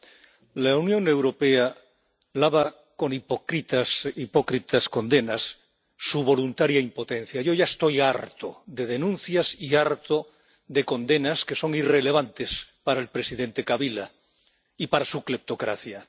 Señora presidenta, la Unión Europea lava con hipócritas condenas su voluntaria impotencia. Yo ya estoy harto de denuncias y harto de condenas que son irrelevantes para el presidente Kabila y para su cleptocracia.